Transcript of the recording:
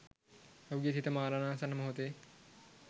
ඔහුගේ සිත මරණාසන්න මොහොතේ